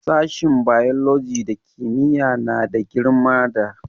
Sashin biology da kimiyya yana da girma da......